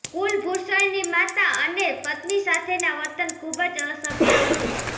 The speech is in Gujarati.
કુલભુષણની માતા અને પત્ની સાથેના વર્તન ખુબજ અસભ્ય હતું